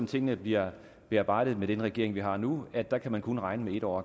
tingene bliver bearbejdet på med den regering vi har nu at der kan man kun regne med en år